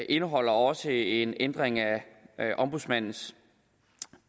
indeholder også en ændring af ombudsmandens